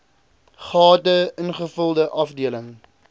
gade ingevulde afdeling